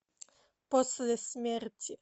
после смерти